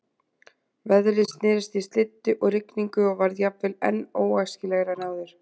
Veðrið snerist í slyddu og rigningu og varð jafnvel enn ókræsilegra en áður.